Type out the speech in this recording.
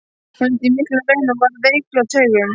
Hún lenti í miklum raunum og varð veikluð á taugum.